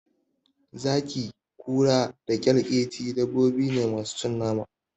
Zaki, Kura da kyalkyeci dabbobine masu cin nama.